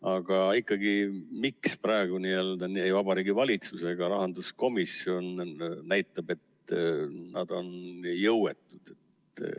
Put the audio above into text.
Aga ikkagi, miks praegu Vabariigi Valitsus ja rahanduskomisjon näitavad, et nad on jõuetud?